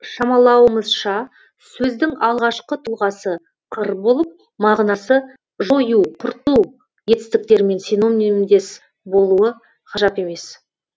шамалауымызша сөздің алғашқы тұлғасы қыр болып мағынасы жою құрту етістіктерімен синонимдес болуы ғажап емес